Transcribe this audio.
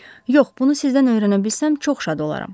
Yox, bunu sizdən öyrənə bilsəm, çox şad olaram.